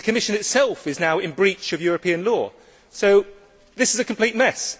The Commission itself is now in breach of European law, so this is a complete mess.